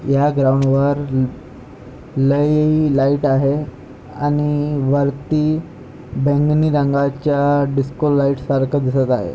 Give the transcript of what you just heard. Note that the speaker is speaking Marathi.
या ग्राउंड वर लय लाइट आहे आणि वरती बैंगणी रंगाच्या डिस्को लाइट सारख दिसत आहे.